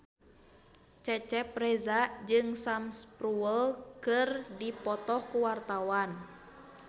Cecep Reza jeung Sam Spruell keur dipoto ku wartawan